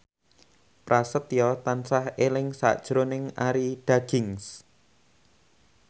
Prasetyo tansah eling sakjroning Arie Daginks